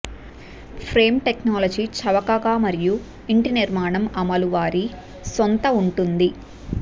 frame technology చవకగా మరియు ఇంటి నిర్మాణం అమలు వారి సొంత ఉంటుంది